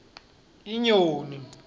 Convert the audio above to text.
inyoni